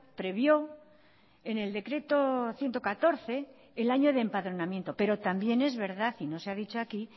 previó en el decreto ciento catorce el año de empadronamiento pero también es verdad y no se ha dicho aquí